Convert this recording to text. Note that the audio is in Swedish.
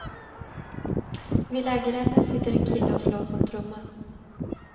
Vid lägerelden sitter en kille och slår på en trumma.